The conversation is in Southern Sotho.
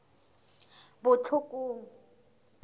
botlhokong